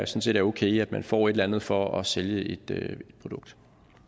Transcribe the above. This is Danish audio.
set er okay at man får et eller andet for at sælge et produkt